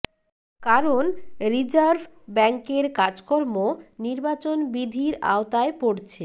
কারণ রিজার্ভ ব্যাংকের কাজকর্ম নির্বাচন বিধির আওতায় পড়ছে